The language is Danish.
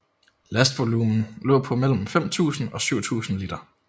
Lastvolumen lå på mellem 5000 og 7000 liter